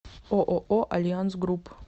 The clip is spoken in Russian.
ооо альянс групп